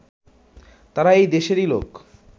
তারা এই দেশেরই লোক